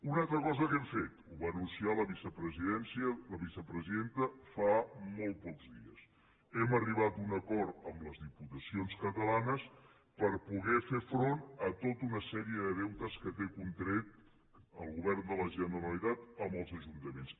una altra cosa que hem fet ho va anunciar la vicepresidenta fa molt pocs dies hem arribat a un acord amb les diputacions catalanes per poder fer front a tota una sèrie de deutes que té contrets el govern de la generalitat amb els ajuntaments